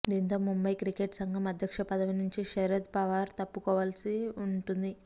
దీంతో ముంబయి క్రికెట్ సంఘం అధ్యక్ష పదవినుంచి శరద్ పవార్ తప్పుకోవలసి ఉంటుంది